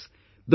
Friends,